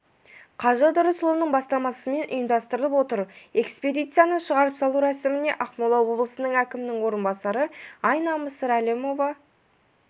қажы ыдырысұлының бастамасымен ұйымдастырылып отыр экспедицияны шығарып салу рәсіміне ақмола облысы әкімінің орынбасары айна мысырәлімова